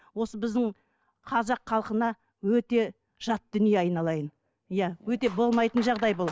осы біздің қазақ халқына өте жат дүние айналайын иә өте болмайтын жағдай бұл